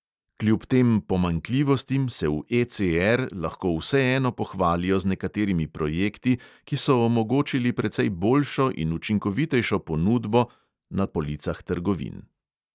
Kljub tem pomanjkljivostim se v ECR lahko vseeno pohvalijo z nekaterimi projekti, ki so omogočili precej boljšo in učinkovitejšo ponudbo na policah trgovin.